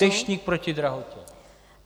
Deštník proti drahotě.